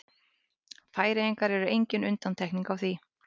Færeyjar eru engin undantekning á því.